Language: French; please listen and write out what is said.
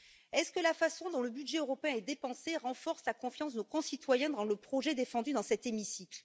Est ce que la façon dont le budget européen est dépensé renforce la confiance de nos concitoyens dans le projet défendu dans cet hémicycle?